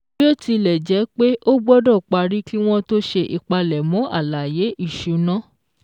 Bí ó tilẹ̀ jẹ́ pé, ó gbọ́dọ̀ parí kí wọ́n tó ṣe ìpalẹ̀mọ́ àlàyé ìṣúná.